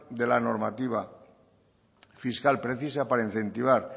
de la normativa fiscal precisa para incentivar